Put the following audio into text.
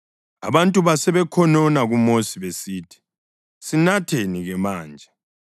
Abantu basebekhonona kuMosi besithi, “Sinatheni-ke manje?”